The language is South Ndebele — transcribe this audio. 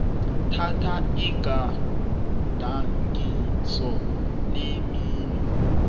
thatha igadangiso lemino